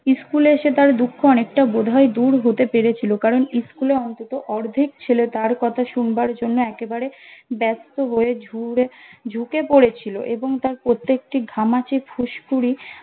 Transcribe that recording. school এসে তার দুঃখ অনেকটা বোধহয় দূর হতে পেরেছিল কারণ school এ অন্তত অর্ধেক ছেলে তার কথা শুনবার জন্য একেবারে ব্যস্ত হয়ে ঝুড়ে ঝুঁকে পড়েছিলো এবং তার প্রত্যেকটি ঘামাচি ফুসকুড়ি